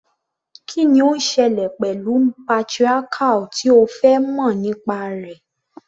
Kí ni ó ń ṣẹlẹ̀ pẹ̀lú patriarchal tí o fẹ́ mọ̀ nípa rẹ̀?